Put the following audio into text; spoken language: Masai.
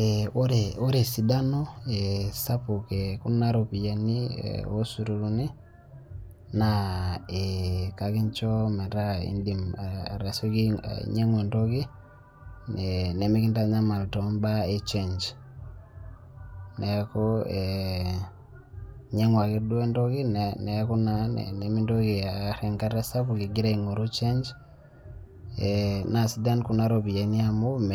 Eeh ore esidano sapuk ekuna ropiani osururuni naa eeh kakincho metaa indim atasioki ainyang'u entoki nemekintanyamal toombaa echenj. Neaku eeh inyang'u ake duo entoki neaku naa nimintoki aar enkata sapuk igira aing'oru change eeh naa sidan kuna ropiyani amu [mee]